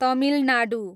Tamil Nadu